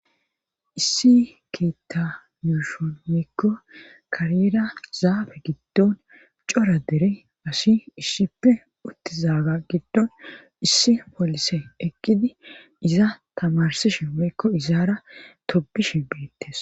Issi keetta yuushon mikko kariyeera zaabe giddon cora dere asi issippe uttizaaga giddon issi polise eqqidi iza tamarsi shemmekko izaara tobishi beettes.